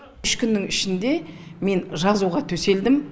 үш күннің ішінде мен жазуға төселдім